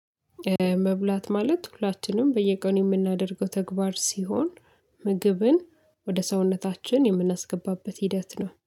መብላት ማለት ሁላችንም በየቀኑ የምናደርገው ተግባር ሲሆን ምግብን ወደ ሰውነታችን የምናስገባበት ሂደት ነው